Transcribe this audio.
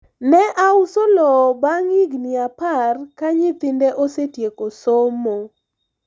ne auso lowo bang' higni apar ka nyithinde osetieko somo